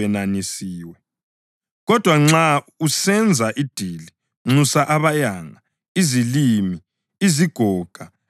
Kodwa nxa usenza idili, nxusa abayanga, izilima, izigoga, iziphofu,